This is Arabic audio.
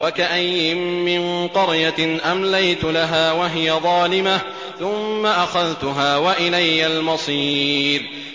وَكَأَيِّن مِّن قَرْيَةٍ أَمْلَيْتُ لَهَا وَهِيَ ظَالِمَةٌ ثُمَّ أَخَذْتُهَا وَإِلَيَّ الْمَصِيرُ